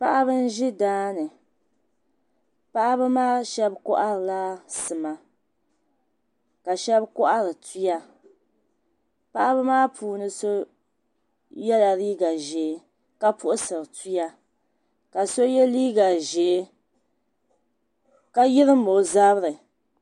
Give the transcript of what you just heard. Paɣaba n ʒi daani paɣaba maa shab koharila sima ka shab kohari tuya paɣaba maa puuni so yɛla liiga ʒiɛ ka puɣusiri tuya ka so yɛ liiga ʒiɛ ka yirim o zabiri